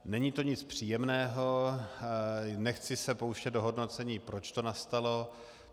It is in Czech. Není to nic příjemného, nechci se pouštět do hodnocení, proč to nastalo.